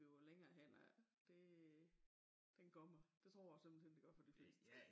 Bliver længere hen af det den kommer det tror jeg simpelthen det gør for de fleste